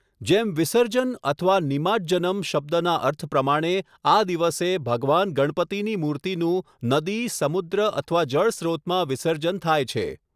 જેમ 'વિસર્જન' અથવા 'નિમાજ્જનમ' શબ્દના અર્થ પ્રમાણે, આ દિવસે ભગવાન ગણપતિની મૂર્તિનું નદી, સમુદ્ર અથવા જળ સ્રોતમાં વિસર્જન થાય છે.